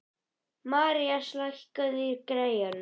Marías, lækkaðu í græjunum.